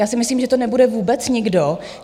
Já si myslím, že to nebude vůbec nikdo.